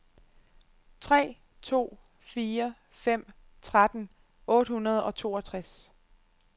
tre to fire fem tretten otte hundrede og toogtres